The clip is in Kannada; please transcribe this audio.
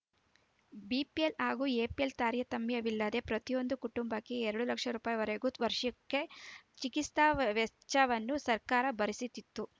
ಬಿಪಿಎಲ್‌ ಹಾಗೂ ಎಪಿಎಲ್‌ ತಾರತಮ್ಯವಿಲ್ಲದೆ ಪ್ರತಿಯೊಂದು ಕುಟುಂಬಕ್ಕೆ ಎರಡು ಲಕ್ಷ ರೂಪಿಪಾಯಿ ವರೆಗೆ ವಾರ್ಷಿಕ ಚಿಕಿತ್ಸಾ ವೆಚ್ಚವನ್ನು ಸರ್ಕಾರ ಭರಿಸುತ್ತಿತ್ತು